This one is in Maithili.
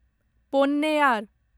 पोन्नैयार